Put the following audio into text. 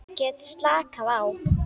Get slakað á.